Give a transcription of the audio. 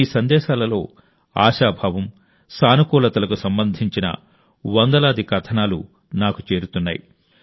మీ సందేశాలలో ఆశాభావం సానుకూలతకు సంబంధించిన వందలాది కథనాలు నాకు చేరుతున్నాయి